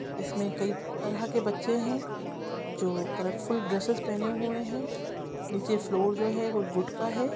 इसमें कई तरह के बच्चे है जो कलरफूल ड्रेसेस पहने हुए हैं निचे फ्लोर जो हैं वो वुड का हैं ।